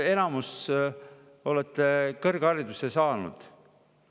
Enamus teist on kõrghariduse saanud.